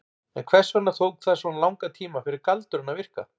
En hvers vegna tók það svona langan tíma fyrir galdurinn að virka?